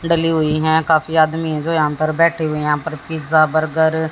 डली हुई है काफी आदमी इधर अंदर बैठे हुए है यहां पर पिज्जा बर्गर --